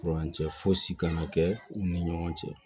Kurancɛ fosi kana kɛ u ni ɲɔgɔn cɛ